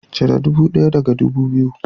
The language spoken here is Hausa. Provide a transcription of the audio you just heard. Cire ɗubu ɗaya daga ɗubu biyu